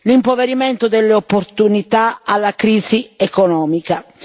l'impoverimento delle opportunità alla crisi economica.